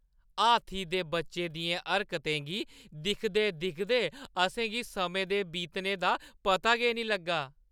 हाथी दे बच्चे दियें हरकतें गी दिखदे-दिखदे असें गी समें दे बीतने दा पता गै निं लग्गा।